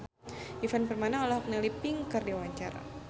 Ivan Permana olohok ningali Pink keur diwawancara